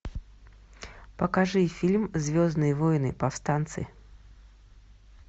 покажи фильм звездные воины повстанцы